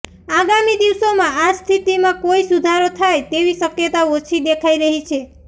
આગામી દિવસોમાં આ સ્થિતિમાં કોઇ સુધારો થાય તેવી શક્યતા ઓછી દેખાઈ રહી છે